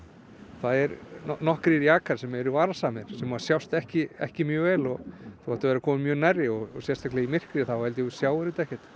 það eru nokkrir jakar sem eru varasamir sem að sjást ekki ekki mjög vel og þú þarft að vera kominn mjög nærri og sérstaklega í myrkri þá held ég að þú sjáir þetta ekkert